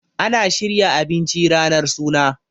ana shirya abinci ranar suna